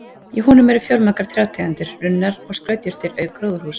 Í honum eru fjölmargar trjátegundir, runnar og skrautjurtir auk gróðurhúss.